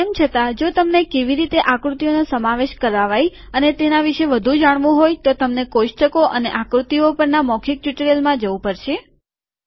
તે છતાં જો તમને કેવી રીતે આકૃતિઓનો સમાવેશ કરાવાય અને એના વિશે વધુ જાણવું હોય તો તમને કોષ્ટકો અને આકૃતિઓ પરના મૌખીક ટ્યુટોરીયલમાં જવું પડશે